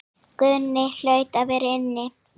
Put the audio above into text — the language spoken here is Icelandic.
Guðni hlaut að vera inni.